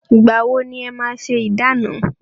Ìgbà wọ ni e máa ṣé ìdána?